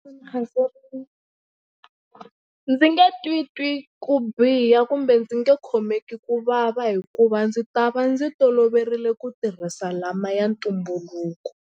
ndzi nge titwi ku biha kumbe ndzi nge khomeki ku vava hikuva ndzi ta va ndzi toloverile ku tirhisa lama ya ntumbuluko.